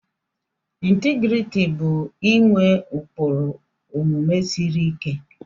Integriti bụ inwe ụkpụrụ omume siri ike.